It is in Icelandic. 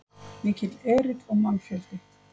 Mikill erill og mannfjöldi